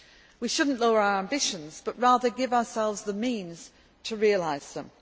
We should not lower our ambitions but, rather, give ourselves the means to realise them.